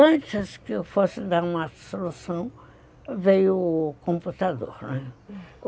Antes que eu fosse dar uma solução, veio o computador.